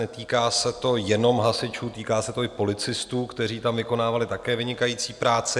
Netýká se to jenom hasičů, týká se to i policistů, kteří tam vykonávali také vynikající práci.